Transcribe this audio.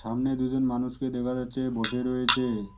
সামনে দুজন মানুষকে দেখা যাচ্ছে বসে রয়েছে।